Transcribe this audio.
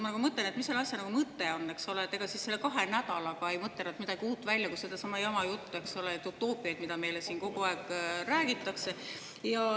Ma mõtlen, et mis selle asja mõte on, ega siis selle kahe nädalaga ei mõtle midagi uut välja, ainult sedasama jama juttu, neid utoopiaid, mida meile siin kogu aeg räägitakse.